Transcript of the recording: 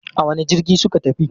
A wane jirgi suka tafi?